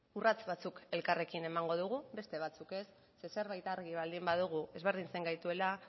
urrats batzuk elkarrekin emango ditugu beste batzuk ez zeren zerbait argi baldin badugu ezberdintzen gaituela